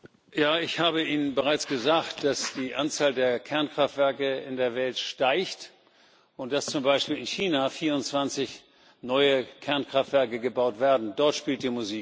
Ich habe Ihnen bereits gesagt, dass die Anzahl der Kernkraftwerke in der Welt steigt und dass zum Beispiel in China 24 neue Kernkraftwerke gebaut werden dort spielt die Musik.